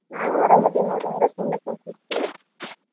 ನಾವು ಅರಾಮದೀವ್ ನೋಡ್ರಿ. ಹಂಗ ಸುಮ್ನೆ ಕುಂತಿದ್ವಿ .